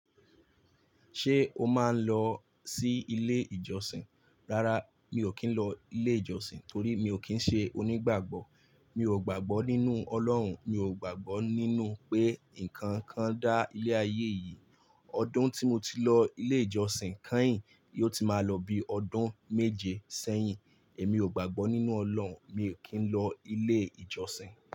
Ṣé o máa ń lọ sí ilé ìjọsìn? Rárá, mi ò kí ń lọ ilé ìjọsìn torí mi ò kí ń ṣe onígbàgbọ́. Mi ò gbàgbọ́ nínú Ọlọ́run, mi ò gbàgbọ́ nínú pé ǹkan kan dá ilé ayé yìí. Ọdún tí mo ti lọ ilé ìjọsìn kányìn yiò ti máa lọ bí ọdún méje sẹ́yìn. Èmi ò gbàgbọ́ nínú Ọlọ́run, mi ò kí ń lọ ilé ìjọsìn.